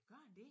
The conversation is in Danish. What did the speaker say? Gør den det?